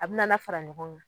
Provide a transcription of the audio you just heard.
A bɛna na fara ɲɔgɔn.